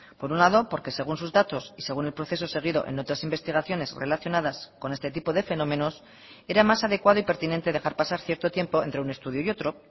por un lado porque según sus datos y según el proceso seguido en otras investigaciones relacionadas con este tipo de fenómenos era más adecuado y pertinente dejar pasar cierto tiempo entre un estudio y otro